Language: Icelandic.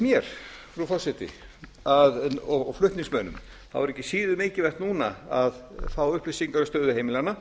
mér frú forseti og flutningsmönnum þá er ekki síður mikilvægt núna að fá upplýsingar um stöðu heimilanna